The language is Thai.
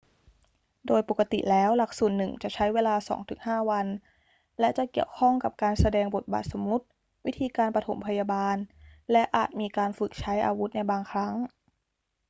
โดยปกติแล้วหลักสูตรหนึ่งจะใช้เวลา 2-5 วัน และจะเกี่ยวข้องกับการแสดงบทบาทสมมุติ วิธีการปฐมพยาบาล และอาจมีการฝึกใช้อาวุธในบางครั้ง